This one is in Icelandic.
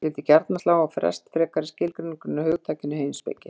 Ég vildi gjarnan slá á frest frekari skilgreiningu á hugtakinu heimspeki.